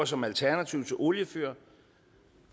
som alternativ til oliefyr